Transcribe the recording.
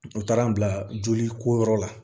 U taara n bila joli ko yɔrɔ la